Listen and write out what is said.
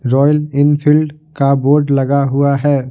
Royal Enfield का board लगा हुआ है।